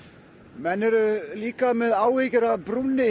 menn eru líka með áhyggjur af brúnni